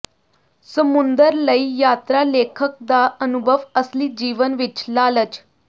ਸਮੁੰਦਰ ਲਈ ਯਾਤਰਾ ਲੇਖਕ ਦਾ ਅਨੁਭਵ ਅਸਲੀ ਜੀਵਨ ਵਿੱਚ ਲਾਲਚ